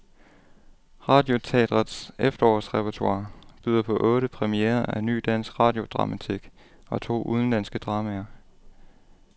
Radioteatrets efterårsrepertoire byder på otte premierer af ny dansk radiodramatik og to udenlandske dramaer.